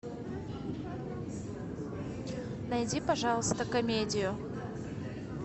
найди пожалуйста комедию